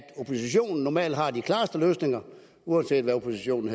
oppositionen normalt har de klareste løsninger uanset hvad oppositionen